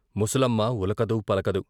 ముసలమ్మ ఉలకదు, పలకదు.